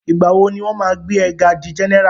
Ìgbà wo ni wọ́n máa gbé e ga di general?